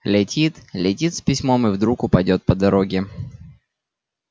летит летит с письмом и вдруг упадёт по дороге